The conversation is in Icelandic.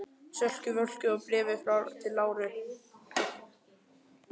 Sölku Völku og Bréfi til Láru.